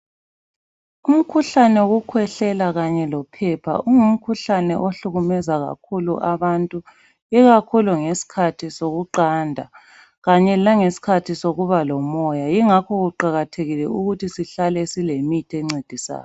Umkhuhlane wokukhwehlela kanye lophepha ungumkhuhlane ohlukumeza kakhulu abantu ikakhulu ngesikhathi somqando kanye lesikhathi sokuba lomoya ingakho kuqakathekile ukuthi sihlale sile mithi engcedisayo